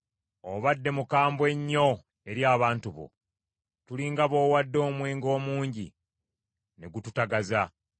Obadde mukambwe nnyo eri abantu bo; tuli nga b’owadde omwenge omungi ne gututagaza.